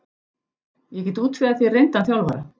Ég get útvegað þér reyndan þjálfara.